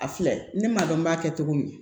A filɛ ne m'a dɔn n b'a kɛ cogo min